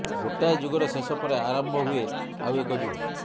ଗୋଟାଏ ଯୁଗର ଶେଷ ପରେ ଆରମ୍ଭ ହୁଏ ଆଉ ଏକ ଯୁଗ